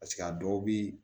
a dɔw bi